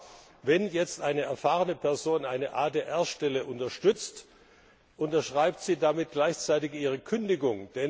Aber wenn jetzt eine erfahrene Person eine ADR Stelle unterstützt, unterschreibt sie damit gleichzeitig ihre Kündigung.